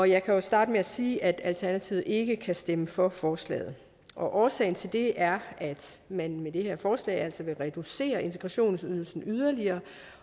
jeg kan jo starte med at sige at alternativet ikke kan stemme for forslaget og årsagen til det er at man med det her forslag altså vil reducere integrationsydelsen yderligere